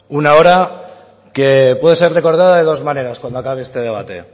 una hora que puede ser recordada de dos maneras cuando acabe este debate